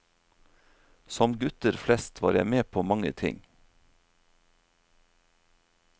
Som gutter flest var jeg med på mange ting.